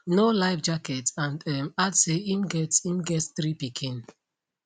no life jacket and um add say im get im get three pikin